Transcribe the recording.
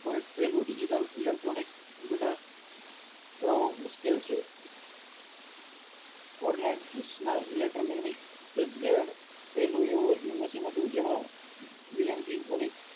point પેલું digital electronic computer બનાવો મુશ્કિલ છે electro magnetic the red પેલું એવું working machine હાટ જેમાં ઘણી